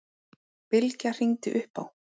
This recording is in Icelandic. Bylgja hringdi upp á